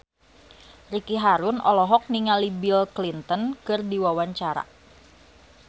Ricky Harun olohok ningali Bill Clinton keur diwawancara